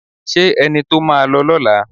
Ṣé ẹni tó máa lọ lọ́la